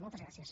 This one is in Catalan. moltes gràcies